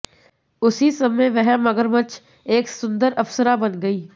उसी समय वह मगरमच्छ एक सुंदर अप्सरा बन गई